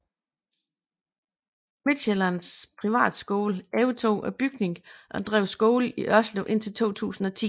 Midtsjællands Privatskole overtog bygningen og drev skole i Ørslev indtil 2010